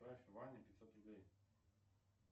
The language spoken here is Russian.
отправь ване пятьсот рублей